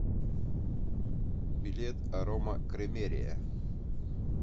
билет арома кремерия